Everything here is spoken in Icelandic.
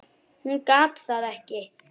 Hún gat það ekki.